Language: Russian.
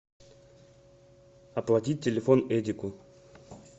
оплатить телефон эдику